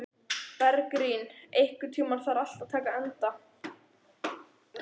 Bergrín, einhvern tímann þarf allt að taka enda.